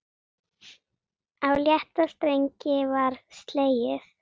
Á létta strengi var slegið.